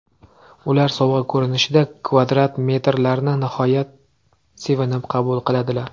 Ular sovg‘a ko‘rinishida kvadrat metrlarni nihoyat sevinib qabul qiladilar.